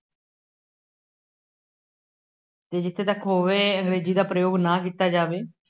ਅਤੇ ਜਿੱਥੇ ਤੱਕ ਹੋਵੇ ਅੰਗਰੇਜ਼ੀ ਦਾ ਪ੍ਰਯੋਗ ਨਾ ਕੀਤਾ ਜਾਵੇ।